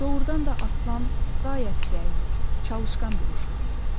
Doğrudan da Aslan qayət qəyyur, çalışqan bir uşaq idi.